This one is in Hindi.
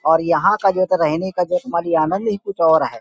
और यहाँ का जो रहने का जो आनंद ही कुछ और है।